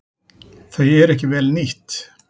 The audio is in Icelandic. Þau eru ekki vel nýtt.